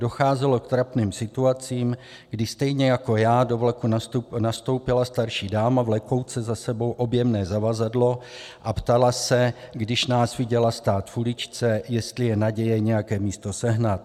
Docházelo k trapným situacím, kdy stejně jako já do vlaku nastoupila starší dáma vlekouce za sebou objemné zavazadlo a ptala se, když nás viděla stát v uličce, jestli je naděje nějaké místo sehnat.